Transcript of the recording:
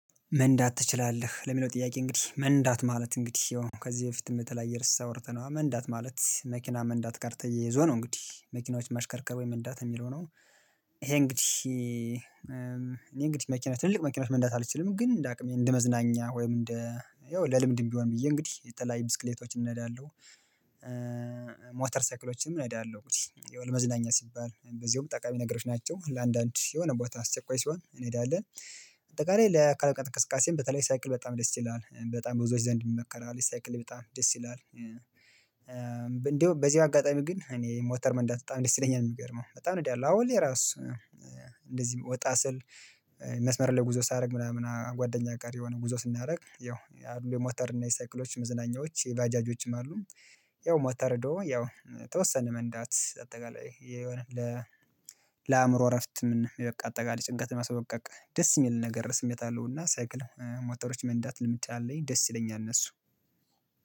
መንዳት ትችላለህ ለሚለው ጥያቄ እንግዲህ መንዳት ማለት እንግዲህ ከዚህ በፊትም በተለያየ ርዕስ አውርተነዋል መንዳት ማለት መኪና መንዳት ጋር ተያይዞ ነው እንግዲህ መኪናዎች ማሽከርከር ወይ መንዳት እሚለው ነው። ይሄ እንግዲህ እኔ እንግዲህ መኪና ትልልቅ መኪና መንዳት አልችልም። ግን እንደ አቅሜ እንደ መዝናኛ ወይም እንደ ያው ለልምድም ቢሆን ብዬ እንግዲህ የተለያየ ብስክሌቶችን እንዳለሁ። ሞተር ሳይክሎችንም እነዳለሁ እንግዲህ ያው ለመዝናኛ ሲባል በዚያውም ጠቃሚ ነገሮች ናቸው ለአንዳንድ የሆነ ቦታ አስቸኳይ ሲሆን እንሄዳለን። በአጠቃላይ ለአካል ብቃት እንቅስቃሴም በተለይ ሳይክል በጣም ደስ ይላል በጣም ብዙዎች ዘንድ ይመከራል ሳይክል በጣም ደስ ይላል። እንዲያውም በዚህ አጋጣሚ ግን እኔ ሞተር መንዳት በጣም ደስ ይለኛል እሚገርመው በጣም ነው አሁን ላይ ራሱ። እንደዚህ ወጣ ስል መስመር ላይ ጉዞ ሳደርግ ምናምን ጓደኛ ጋር የሆነ ጉዞ ስናደርግ ያው የሞተር እና የሳይክሎች መዝናኛዎች የባጃጆችም አሉ። ያው ሞተር ያው የተወሰነ መንዳት አጠቃላይ የሆነ ለአእምሮ እረፍት ምን አጠቃላይ ጭንቀት ለማስለቀቅ ደስ እሚል ነገር ስሜት አለው። እና ሳይክል ሞተሮች መንዳት ልምድ አለኝ ደስ ይለኛል። እነሱ